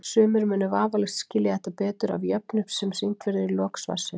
Sumir munu vafalaust skilja þetta betur af jöfnu sem sýnd verður í lok svarsins.